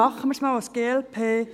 Machen wir es einmal als glp.